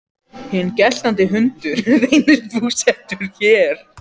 Hinn geltandi hundur reynist búsettur hér.